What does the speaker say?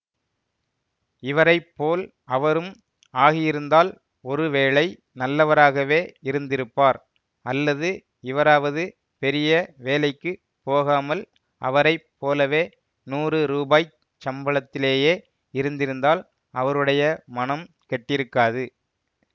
இவரைப்போல் அவரும் ஆகியிருந்தால் ஒருவேளை நல்லவராகவே இருந்திருப்பார் அல்லது இவராவது பெரிய வேலைக்கு போகாமல் அவரை போலவே நூறு ரூபாய்ச் சம்பளத்திலேயே இருந்திருந்தால் அவருடைய மனம் கெட்டிருக்காது